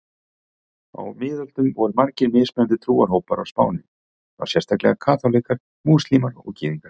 Á miðöldum voru margir mismunandi trúarhópar á Spáni, þá sérstaklega kaþólikkar, múslímar og gyðingar.